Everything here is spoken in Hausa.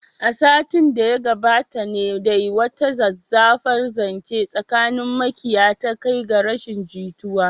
A makon da ya gabata ne dai wata zazzafar zance tsakanin makiya ta kai ga rashin jituwa.